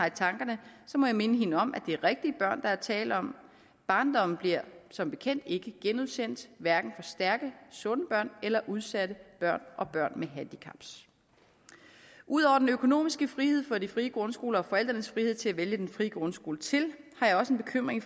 i tankerne må jeg minde hende om at det er rigtige børn der er tale om barndommen bliver som bekendt ikke genudsendt hverken for stærke sunde børn eller udsatte børn og børn med handicaps ud over den økonomiske frihed for de frie grundskoler og forældrenes frihed til at vælge den frie grundskole til har jeg også en bekymring